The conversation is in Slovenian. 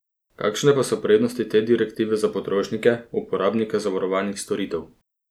Kakšne pa so prednosti te direktive za potrošnike, uporabnike zavarovalnih storitev?